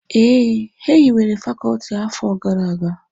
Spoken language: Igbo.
Ee, e hiwere Fakọọti a n'afọ gara aga